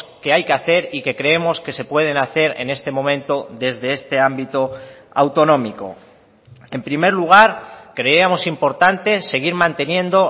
que hay que hacer y que creemos que se pueden hacer en este momento desde este ámbito autonómico en primer lugar creemos importante seguir manteniendo